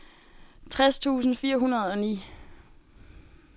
tres tusind fire hundrede og ni